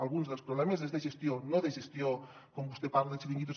alguns dels problemes són de gestió no de gestió com vostè parla de chiringuitos